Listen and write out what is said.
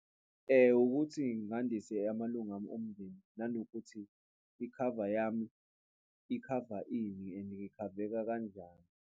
Ukuthi ngandise amalunga ami omndeni nanokuthi ikhava yami ikhava ini and ikhaveka kanjani.